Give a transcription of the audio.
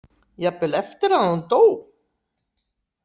Jafnvel eftir að hún dó?